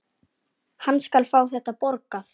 Hann skal fá þetta borgað!